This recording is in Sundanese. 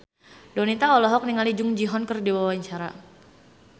Donita olohok ningali Jung Ji Hoon keur diwawancara